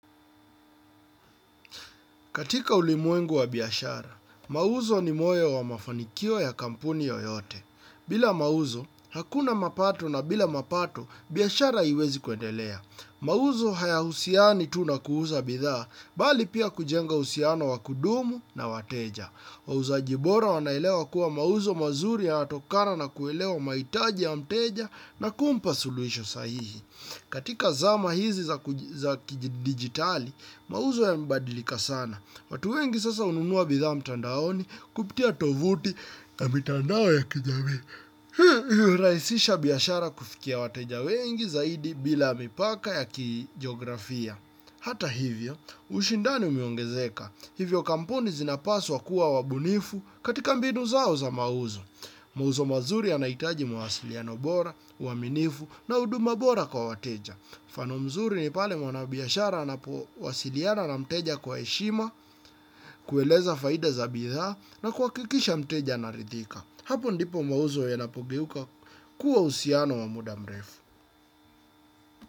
Katika ulimwengu wa biashara, mauzo ni moyo wa mafanikio ya kampuni yoyote. Bila mauzo, hakuna mapato na bila mapato, biashara haiwezi kwendelea. Mawuzo hayahusiani tu na kuuza bidhaa, bali pia kujenga husiano wakudumu na wateja. Mawuzo ajibora wanaelewa kuwa mauzo mazuri ya natokana na kuelewa maitaji ya mteja na kumpa sulwisho sahihi. Katika zama hizi za kijidigitali, mauzo ya mbadilika sana. Watu wengi sasa ununua bidhaa mtandaoni kupitia tovuti ya mitandao ya kijamii. Raisisha biashara kufikia wateja wengi zaidi bila mipaka ya kijografia. Hata hivyo, ushindani umeongezeka. Hivyo kampuni zinapaswa kuwa wabunifu katika mbinu zao za mauzo. Mauzo mazuri anaitaji mwasiliano bora, waminifu na huduma bora kwa wateja. Mfano mzuri ni pale mwana biashara anapo wasiliana na mteja kwa eshima, kueleza faida za bidhaa na kuwakikisha mteja anarithika. Hapo ndipo mauzo ya napogeuka kuwa usiano wa muda mrefu.